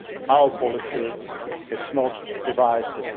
Our policy is not divisive.